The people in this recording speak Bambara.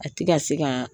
A ti ka se ka